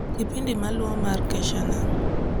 kipindi maluo mar kesha nami